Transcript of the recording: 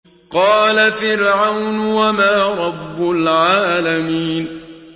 قَالَ فِرْعَوْنُ وَمَا رَبُّ الْعَالَمِينَ